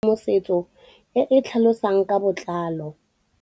Tlhalefô o batla tshedimosetsô e e tlhalosang ka botlalô.